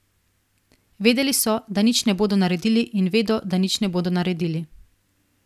Vedeli so, da nič ne bodo naredili, in vedo, da nič ne bodo naredili.